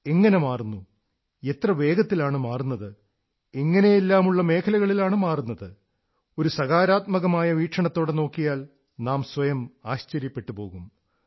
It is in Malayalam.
എങ്ങനെ മാറുന്നു എത്ര വേഗത്തിലാണ് മാറുന്നത് എങ്ങനെയെല്ലാമുള്ള മേഖലകളിലാണ് മാറുന്നത് ഒരു സകാരാത്മകമായ വീക്ഷണത്തോടെ നോക്കിയാൽ നാം സ്വയം ആശ്ചര്യപ്പെട്ടുപോകും